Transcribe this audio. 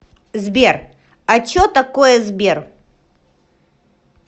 сбер а че такое сбер